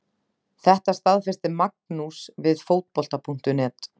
Þetta staðfesti Magnús við Fótbolta.net.